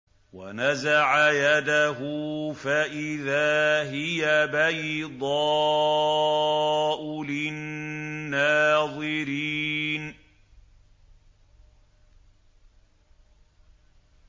وَنَزَعَ يَدَهُ فَإِذَا هِيَ بَيْضَاءُ لِلنَّاظِرِينَ